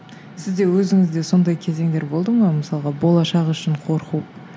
сізде өзіңізде сондай кезеңдер болды ма мысалға болашақ үшін қорқу